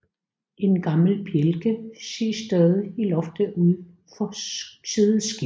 En gammel bjælke ses stadig i loftet ud for sideskibet